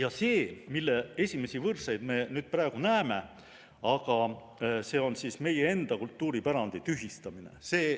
Aga see, mille esimesi võrseid me praegu näeme, see on siis meie enda kultuuripärandi tühistamine.